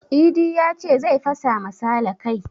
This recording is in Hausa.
Idi yace zai fasa ma sale kai